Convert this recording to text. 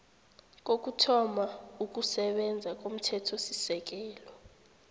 kokuthoma ukusebenza komthethosisekelo